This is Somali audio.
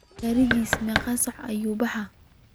Garigas megaa saac ayu sobixi?